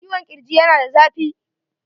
Ciwo zuƙirji yana da zafi.